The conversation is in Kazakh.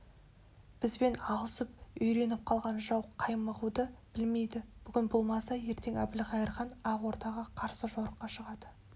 бізбен алысып үйреніп қалған жау қаймығуды білмейді бүгін болмаса ертең әбілқайыр хан ақ ордаға қарсы жорыққа шығады